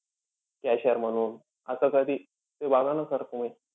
Cashier म्हणून. असं कधी बघा ना sir तुम्ही.